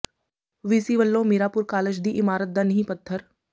VC ਵੱਲੋਂ Miranpur college ਦੀ ਇਮਾਰਤ ਦਾ ਨੀਂਹ ਪੱਥਰ